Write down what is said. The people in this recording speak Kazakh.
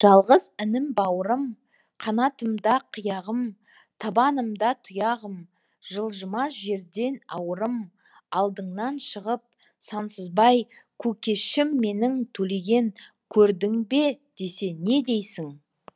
жалғыз інім бауырым қанатымда қияғым табанымда тұяғым жылжымас жерден ауырым алдыңнан шығып сансызбай көкешім менің төлеген көрдің бе десе не дейсің